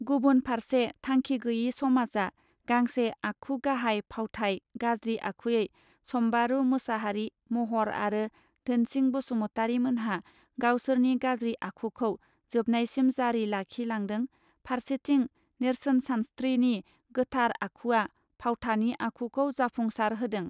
गुबुन फारसे थांखि गैसे समाजआ गांसे आखु गाहाइ फावथाय गाज्रि आखुयै सम्बारू मुसाहारि महर आरो धोनसिं बसुमतरिमोनहा गावसोरनि गाज्रि आखुखौ जेाबनायसिम जारि लाखि लांदों फारसेथिं नेर्सोनसानस्त्रिनि गोथार आखुवा फावथानि आखुखौ जाफुंसार होदों.